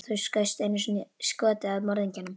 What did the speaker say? Þú skaust einu skoti að morðingjanum.